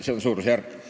See on suurusjärk.